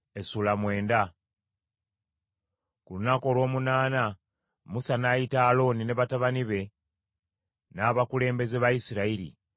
Ku lunaku olw’omunaana Musa n’ayita Alooni ne batabani be n’abakulembeze ba Isirayiri.